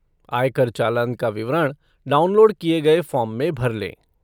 आय कर चालान का विवरण, डाउनलोड किए गये फ़ॉर्म में भर लें।